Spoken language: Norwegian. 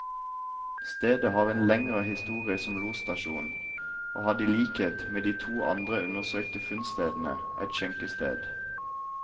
Stedet har en lengre historie som losstasjon, og hadde i likhet med de to andre undersøkte funnstedene, et skjenkested.